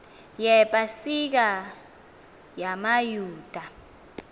yepa sika yamayuda